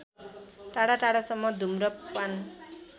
टाढाटाढासम्म घुम्र पान